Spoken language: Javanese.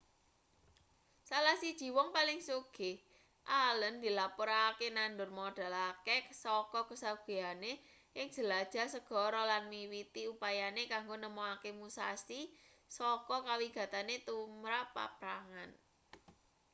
salah siji wong paling sugih allen dilapurake nandur modal akeh saka kasugihane ing jelajah segara lan miwiti upayane kanggo nemokake musashi saka kawigatene tumrap paprangan